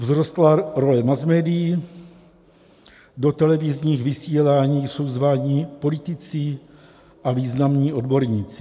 Vzrostla role masmédií, do televizních vysílání jsou zváni politici a významní odborníci.